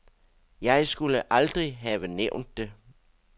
Jeg skulle aldrig have nævnt det.